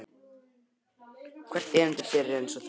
Og hvert erindi byrji einsog þetta.